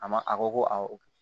A ma a ko ko awɔ